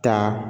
Taa